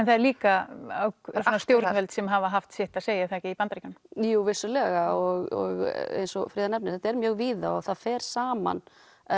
það eru líka stjórnvöld sem hafa haft sitt að segja í Bandaríkjunum jú vissulega og eins og Fríða nefnir þetta er mjög víða og fer saman